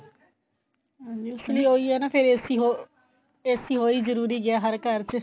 ਹਾਂਜੀ ਉਹੀ ਐ ਨਾ ਫੇਰ AC ਹੋ AC ਹੋ ਹੀ ਜਰੂਰੀ ਗਿਆ ਹਰ ਘਰ ਚ